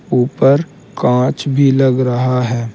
उपर कांच भी लग रहा है।